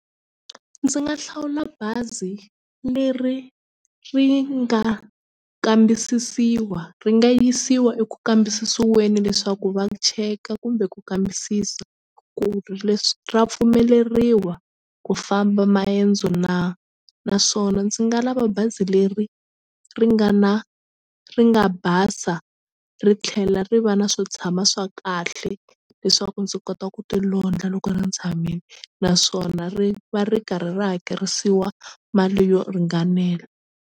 Ndzi nga hlawula bazi leri ri nga kambisisiwa ri nga yisiwa eku kambisisiweni leswaku va cheka kumbe ku kambisisa ku ri leswi ra pfumeleriwa ku famba maendzo na naswona ndzi nga lava bazi leri ri nga na ri nga basa ri tlhela ri va na swo tshama swa kahle leswaku ndzi kota ku ti londla loko ni tshamile naswona ri va ri karhi ri hakerisiwa mali yo ringanela.